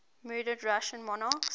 murdered russian monarchs